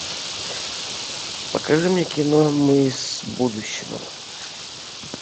покажи мне кино мы из будущего